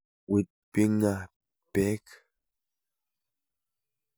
Wit bing'a peek.